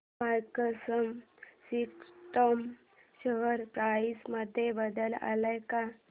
maxima Systems share price मध्ये बदल आलाय का